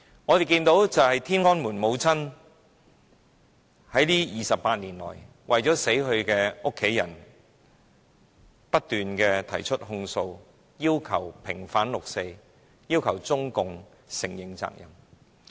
我們看到，"天安門母親"這28年來，為了死去的家人，不斷提出控訴，要求平反六四，要求中共承認責任。